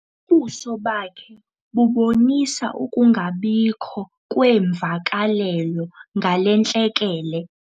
Ubuso bakhe bubonisa ukungabikho kweemvakalelo ngale ntlekele.